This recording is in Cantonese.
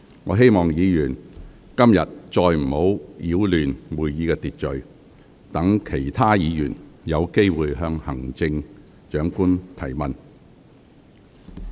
我希望議員今天不要再次擾亂會議秩序，讓其他議員有機會向行政長官提問。